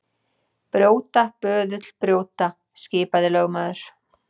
Brjóta, böðull, brjóta, skipaði lögmaður.